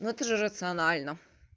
ну ты же рационально